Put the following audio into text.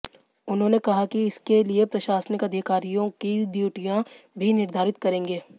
उन्होंने कहा कि इसके लिए प्रशासनिक अधिकारियों की ड्यूटियां भी निर्धारित करेंगे